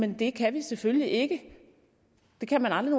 jamen det kan vi selvfølgelig ikke det kan man aldrig